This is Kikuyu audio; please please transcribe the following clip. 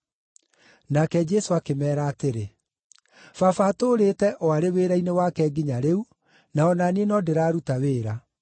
Nake Jesũ akĩmeera atĩrĩ, “Baba atũũrĩte o arĩ wĩra-inĩ wake nginya rĩu, na o na niĩ no ndĩraruta wĩra.”